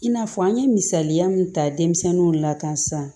I n'a fɔ an ye misaliya min ta denmisɛnninw la kan sisan